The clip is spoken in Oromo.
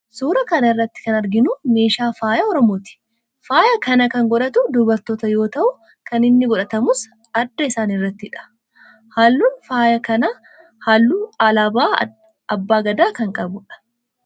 Suuraa kana irratti kan arginu meeshaa faayaa oromooti. Faaya kana kan godhatu dubartoota yoo ta'u kan inni godhatamus adda isaanii irrattidha. Halluun faaya kanaa halluu alaabaa abbaa Gadaa kan qabudha.